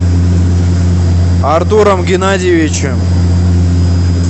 артуром геннадьевичем